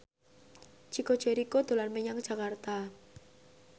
Chico Jericho dolan menyang Jakarta